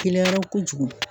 Gɛlɛyara kojugu